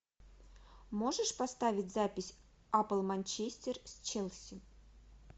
можешь поставить запись апл манчестер с челси